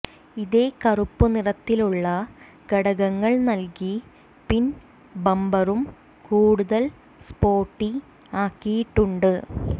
ഇതേ കറുപ്പ് നിറത്തിലുള്ള ഘടകങ്ങൾ നൽകി പിൻ ബമ്പറും കൂടുതൽ സ്പോർട്ടി ആക്കിയിട്ടുണ്ട്